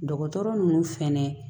Dɔgɔtɔrɔ ninnu fɛnɛ